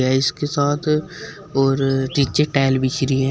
इसके साथ और नीचे टाइल बिछ रही है।